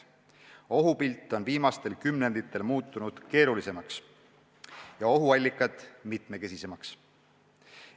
Ohupilt on viimastel kümnenditel muutunud keerulisemaks ja ohuallikad mitmekesisemaks.